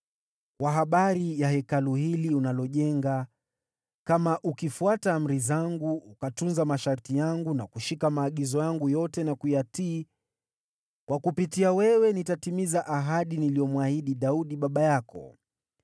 “Kwa habari ya Hekalu hili unalojenga, kama ukifuata amri zangu, ukatunza masharti yangu na kushika maagizo yangu yote na kuyatii, kwa kupitia wewe nitatimiza ahadi niliyomwahidi Daudi baba yako.